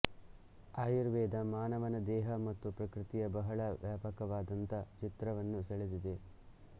ಆಯುರ್ವೇದ ಮಾನವನ ದೇಹ ಮತ್ತು ಪ್ರಕೃತಿಯ ಬಹಳ ವ್ಯಾಪಕವಾದಂತ ಚಿತ್ರವನ್ನು ಸೆಳೆದಿದೆ